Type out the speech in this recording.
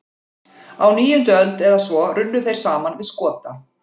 Á níundu öld eða svo runnu þeir saman við Skota.